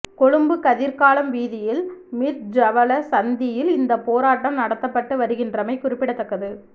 கொழும்பு கதிர்காலம் வீதியில் மிரிஜ்ஜவல சந்தியில் இந்தப் போராட்டம் நடத்தப்பட்டு வருகின்றமை குறிப்பிடத்தக்கது